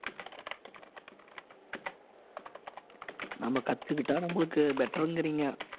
நம்ம கத்துக்கிட்டா நம்மளுக்கு better ங்கிறீங்க